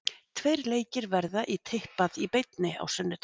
Tveir leikir verða í Tippað í beinni á sunnudag.